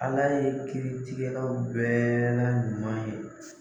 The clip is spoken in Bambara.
ALA ye kirigɛlaw bɛɛ la ɲuman ye.